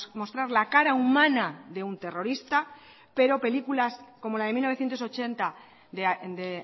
mostrar la cara humana de un terrorista pero películas como la de mil novecientos ochenta de